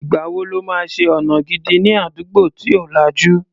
Ìgbà wo lọ́ máa ṣe ọ̀nà gidi ní àdúgbò tí ò lajú?